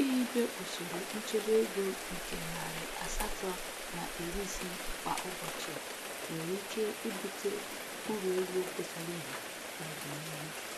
Ihibe usoro nchebe ego nke narị asatọ na iri ise kwa ụbọchị nwere ike ibute uru ego pụtara ihe n'odinihu.